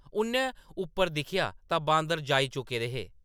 उʼन्नै उप्पर दिक्खेआ तां बांदर जाई चुके दे हे ।